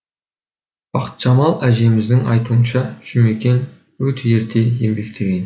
бақытжамал әжеміздің айтуынша жұмекен өте ерте еңбектеген